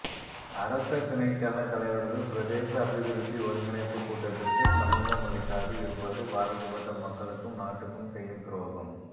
அரச திணைக்கள தலைவர்கள் பிரதேச அபிவிருத்தி ஒருங்கிணைப்புக் கூட்டத்திற்கு சமுகமளிக்காது இருப்பது பாதிக்கப்பட்ட மக்களுக்கும் நாட்டுக்கும் செய்யும் துரோகம்